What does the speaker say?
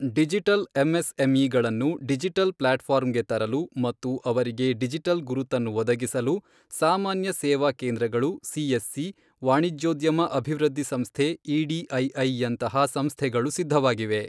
Digital ಎಂಎಸ್ಎಂಇಗಳನ್ನು digital ಪ್ಲಾಟ್ಫಾರ್ಮ್ಗೆ ತರಲು ಮತ್ತು ಅವರಿಗೆ ಡಿಜಿಟಲ್ ಗುರುತನ್ನು ಒದಗಿಸಲು ಸಾಮಾನ್ಯ ಸೇವಾ ಕೇಂದ್ರಗಳು ಸಿಎಸ್ಸಿ, ವಾಣಿಜ್ಯೋದ್ಯಮ ಅಭಿವೃದ್ಧಿ ಸಂಸ್ಥೆ ಇಡಿಐಐ ಯಂತಹ ಸಂಸ್ಥೆಗಳು ಸಿದ್ಧವಾಗಿವೆ.